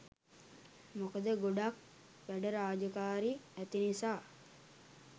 මොකද ගොඩක් වැඩ රාජකාරී ඇති නිසා